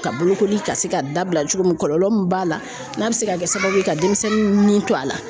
Ka bolokoli ka se ka dabila cogo min, kɔlɔlɔ min b'a la n'a bi se ka kɛ sababu ye ka denmisɛnnin ni to a la